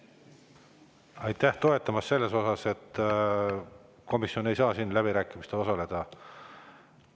Aitäh toetamast selles, et komisjon ei saa siin läbirääkimistel osaleda!